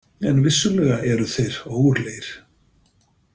En vissulega eru þeir ógurlegir.